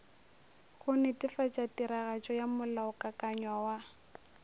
go netefatšatiragatšo ya molaokakanywa wa